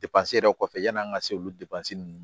yɛrɛ kɔfɛ yani an ka se olu ninnu